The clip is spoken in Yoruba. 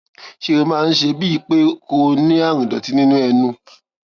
ṣé ó máa ń ṣe é bíi pé kó o ní àrùn ìdòtí nínú ẹnu